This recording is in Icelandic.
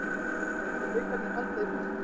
Ætli Haukarnir haldi þetta út?